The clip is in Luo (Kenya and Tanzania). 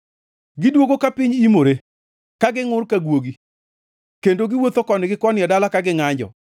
Gidwogo ka piny imore ka gingʼur ka guogi, kendo giwuotho koni gi koni e dala ka gingʼanjo.